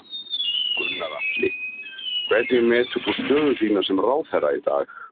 Gunnar Atli: Hvernig metur þú stöðu þína sem ráðherra í dag?